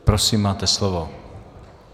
Prosím, máte slovo.